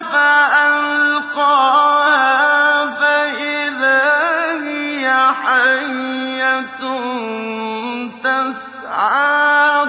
فَأَلْقَاهَا فَإِذَا هِيَ حَيَّةٌ تَسْعَىٰ